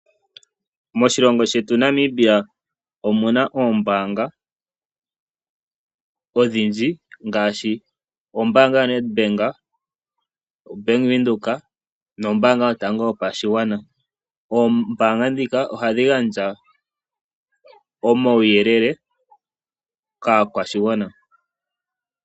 Moshilongo shetu Namibia, omuna oombanga odhindji ngaashi ombaanga yo Nedbank, Bank Windhoek, nombaanga yotango yopashigwana. Oombaanga dhika oha dhi gandja omauyelele, kaakwashigwana.